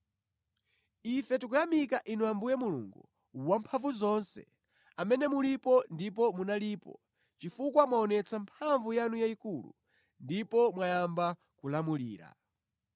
Iwo anati, “Ife tikuyamika Inu Ambuye Mulungu Wamphamvuzonse, amene mulipo ndipo munalipo, chifukwa mwaonetsa mphamvu yanu yayikulu, ndipo mwayamba kulamulira.